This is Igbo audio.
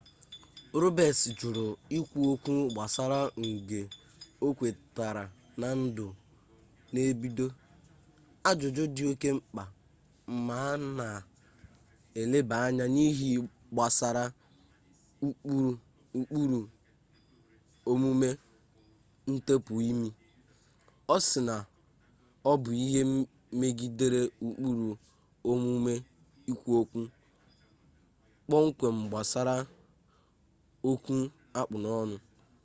robets jụrụ ikwu okwu gbasara ngbe okwetara na ndụ n'ebido ajụjụ dị oke mkpa ma a na eleba anya n'ihe gbasara ụkpụrụ omume ntepụ ime ọ sị na ọ bụ ihe megidere ụkpụrụ omume ikwu okwu kpọmkwem gbasara okwu akpụ n'ọnụ